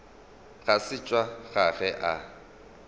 ga se tša gagwe a